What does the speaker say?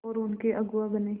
और उनके अगुआ बने